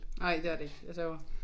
Nej det er det ikke. Jeg sværger